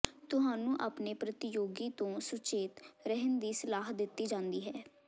ਤੁਹਾਨੂੰ ਆਪਣੇ ਪ੍ਰਤੀਯੋਗੀ ਤੋਂ ਸੁਚੇਤ ਰਹਿਣ ਦੀ ਸਲਾਹ ਦਿੱਤੀ ਜਾਂਦੀ ਹੈ